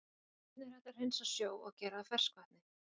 Hvernig er hægt að hreinsa sjó og gera að ferskvatni?